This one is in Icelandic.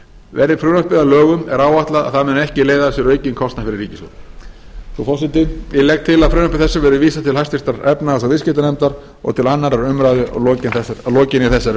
verði frumvarpið að lögum er áætlað að það muni ekki leiða af sér aukinn kostnað fyrir ríkissjóð frú forseti ég legg til að frumvarpi þessu verði vísað til háttvirtrar efnahags og viðskiptanefndar og til annarrar umræðu að lokinni þessari